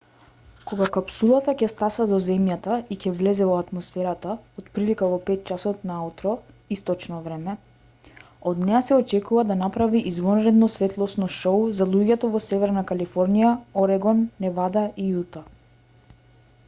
кога капсулата ќе стаса до земјата и ќе влезе во атмосферата отприлика во 5 часот наутро источно време од неа се очекува да направи извонредно светлосно шоу за луѓето во северна калифорнија орегон невада и јута